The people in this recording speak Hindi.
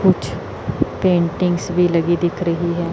कुछ पेंटिंग्स भी लगी दिख रही हैं।